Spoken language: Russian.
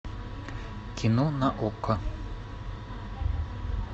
кино на окко